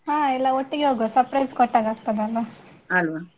ಹಾ ಎಲ್ಲಾ ಒಟ್ಟಿಗೆ ಹೋಗುವ surprise ಕೊಟ್ಟಹಾಗೆ ಆಗ್ತದೆಯಲ್ಲ.